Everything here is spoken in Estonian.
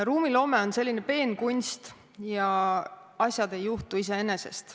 Ruumiloome on peen kunst ja asjad ei juhtu iseenesest.